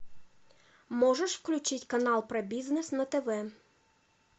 можешь включить канал про бизнес на тв